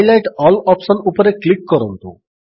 highlight all option ଉପରେ click କରନ୍ତୁ